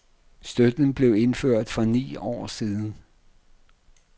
Støtten blev indført for ni år siden.